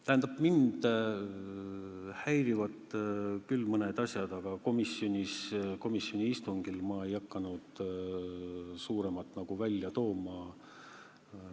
Tähendab, mind häirivad küll mõned asjad, aga komisjoni istungil ma ei hakanud neid kõiki esile tooma.